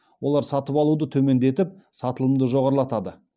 олар сатып алуды төмендетіп сатылымды жоғарылатады